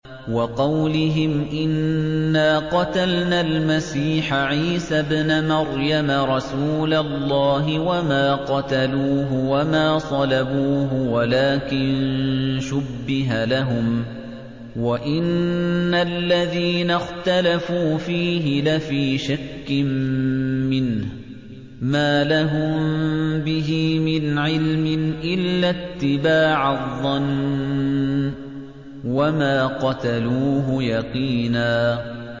وَقَوْلِهِمْ إِنَّا قَتَلْنَا الْمَسِيحَ عِيسَى ابْنَ مَرْيَمَ رَسُولَ اللَّهِ وَمَا قَتَلُوهُ وَمَا صَلَبُوهُ وَلَٰكِن شُبِّهَ لَهُمْ ۚ وَإِنَّ الَّذِينَ اخْتَلَفُوا فِيهِ لَفِي شَكٍّ مِّنْهُ ۚ مَا لَهُم بِهِ مِنْ عِلْمٍ إِلَّا اتِّبَاعَ الظَّنِّ ۚ وَمَا قَتَلُوهُ يَقِينًا